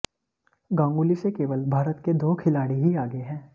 गांगुली से केवल भारत के दो खिलाड़ी ही आगे हैं